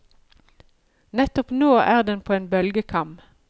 Nettopp nå er den på en bølgekam.